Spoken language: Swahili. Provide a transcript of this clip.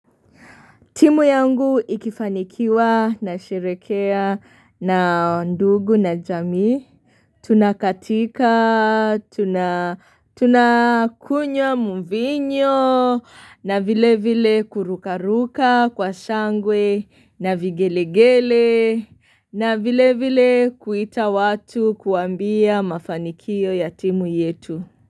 Timu yangu ikifanikiwa na sherekea na ndugu na jamii, tunakatika, tunakunywa muvinyo na vile vile kurukaruka kwa shangwe na vigelegele na vile vile kuita watu kuambia mafanikio ya timu yetu.